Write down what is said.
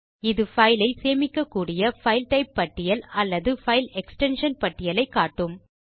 இது பைலை சேமிக்கக்கூடிய பைல் டைப் பட்டியல் அல்லது பைல் எக்ஸ்டென்ஷன் பட்டியலை காட்டும்